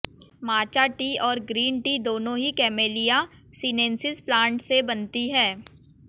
माचा tea और green tea दोनों ही कैमेलिया सीनेंसिस प्लांट से बनती हैं